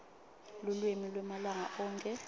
lulwimi lwemalanga onkhe